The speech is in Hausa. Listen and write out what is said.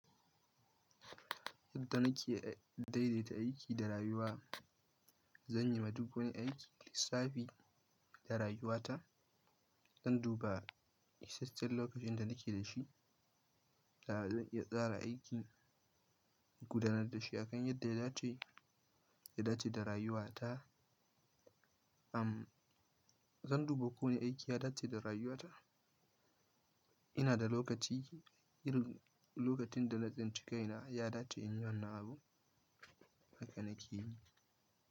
Yadda nadaidaita aiki da rayuwa, zan yi madugune aikin lissafi da rayuwata. Zan duba, isashen lokacin da na ke da shi, da zan iya tsara aikin gudanar da shi akan yadda ya dace, ya dace da rayuwata. Zan duba ko wane aiki ya dace da rayuwata. Ina da lokaci, yi lokacin da na tsinka yana, ya dace in yi wannan abu. Haka na ke yi.